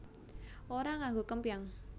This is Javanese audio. Ora nganggo kempyang